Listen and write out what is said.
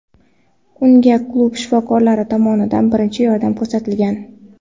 Unga klub shifokorlari tomonidan birinchi yordam ko‘rsatilgan.